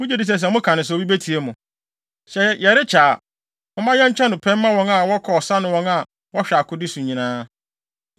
Mugye di sɛ sɛ moka no saa a, obi betie mo? Sɛ yɛrekyɛ a, momma yɛnkyɛ no pɛ mma wɔn a wɔkɔ ɔsa ne wɔn a wɔhwɛ akode so nyinaa.”